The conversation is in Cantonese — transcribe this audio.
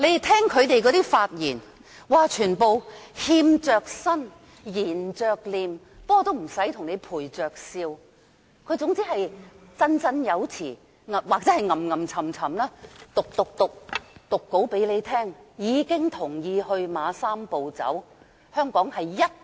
他們發言時全都欠着身，涎着臉，雖然不用陪着笑，但卻總是振振有詞或念念有詞地讀出講稿，同意"三步走"方案。